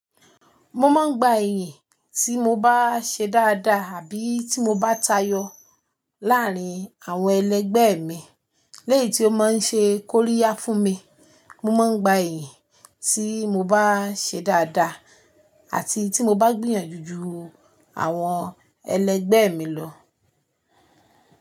Mo máa ń gba ìyìn tí mo bá ṣe dáadáa àbí tí mo bá tayọ láàárín àwọn ẹlẹgbẹ́ mi. Léyìí tí ó máa ń ṣe kóríyá fún mi. Mo máa ń gba ẹ̀yìn tí mo bá ṣe dáadáa àti tí mo bá gbìyànjú ju àwọn ẹlẹgbẹ́ mi lọ.